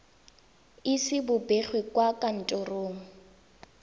ise bo begwe kwa kantorong